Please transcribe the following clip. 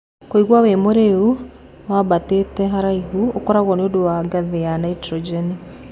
Kũigua wĩ mũrĩu wambatĩte haraihu ũkoragwo nĩ ũndũ wa gathi ya Naitojeni.